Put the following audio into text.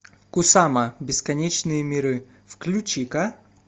кусама бесконечные миры включи ка